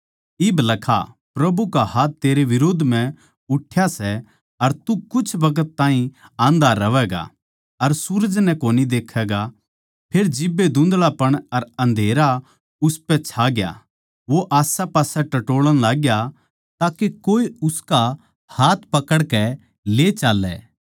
इब लखा प्रभु का हाथ तेरै बिरोध म्ह उठ्या सै अर तू कुछ बखत ताहीं आंधा रहवैगा अर सूरज नै कोनी देखैगा फेर जिब्बे धुँधळापण अर अन्धेरा उसपै छा गया वो इन्नैउन्नै टटोळण लाग्या ताके कोए उसका हाथ पकड़कै ले चाल्लै